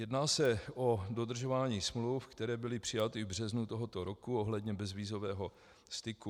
Jedná se o dodržování smluv, které byly přijaty v březnu tohoto roku ohledně bezvízového styku.